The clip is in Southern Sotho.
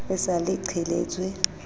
e sa le e qheletswe